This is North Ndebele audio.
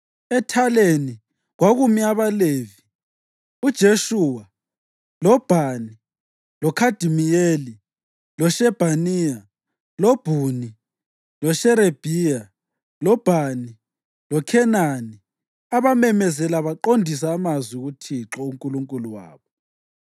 Ethaleni kwakumi abaLevi, uJeshuwa, loBhani, loKhadimiyeli, loShebhaniya, loBhuni, loSherebhiya, loBhani loKhenani, abamemeza baqongisa amazwi kuThixo uNkulunkulu wabo.